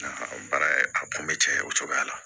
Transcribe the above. O baara a kun bɛ caya o cogoya la